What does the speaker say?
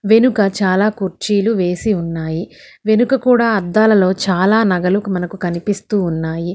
వెనుక చాలా కుర్చీలు వేసి ఉన్నాయి వెనుక కూడా అద్దాలలో చాలా నగలకు మనకు కనిపిస్తూ ఉన్నాయి.